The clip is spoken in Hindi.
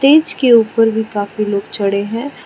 टेज के ऊपर भी काफी लोग चढ़े है।